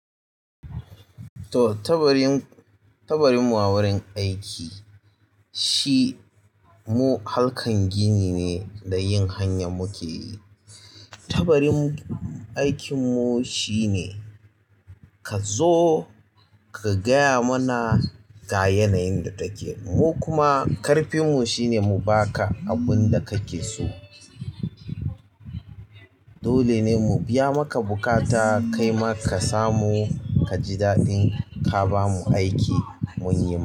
To, tabarin, tabarin mu wurin aiki shi mu halkan gini ne da yin hanya muke yi. Tabarin aikin mu shine ka zo ka gaya mana ga yanayin da take. Mu kuma ƙarfin mu shine mu baka abin da kake so. Dole ne mu biya maka buƙata kai ma ka samu ka ji daɗin ka ba mu aiki mun yi ma.